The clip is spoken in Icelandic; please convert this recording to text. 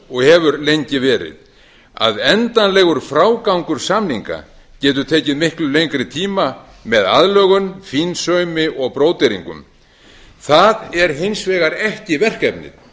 og hefur lengi verið að endanlegur frágangur samninga getur tekið miklu lengri tíma með aðlögun fínsaumi og bróderingum það er hins vegar ekki verkefnið